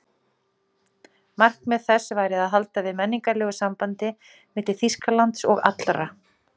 Markmið þess væri að halda við menningarlegu sambandi milli Þýskalands og allra